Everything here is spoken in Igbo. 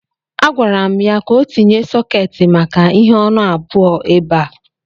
A gwara m ya ka o tinye sọketi maka ihe ọnụ abụọ ebe a.